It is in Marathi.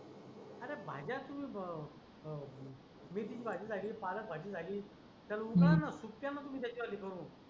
अरे भाज्या तुम्ही ब अं अं मेथीची भाजी झाली, पालक भाजी झाली त्याला उकळा न खूप दयान त्याची हो.